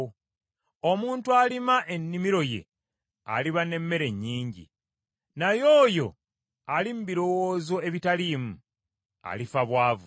Omuntu alima ennimiro ye aliba n’emmere nnyingi, naye oyo ali mu birowoozo ebitaliimu alifa bwavu.